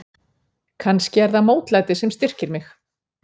Kannski er það mótlætið sem styrkir mig.